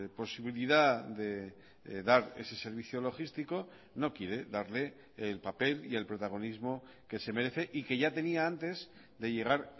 posibilidad de dar ese servicio logístico no quiere darle el papel y el protagonismo que se merece y que ya tenía antes de llegar